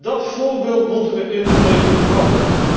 Dat voorbeeld moeten wij in de EU houden.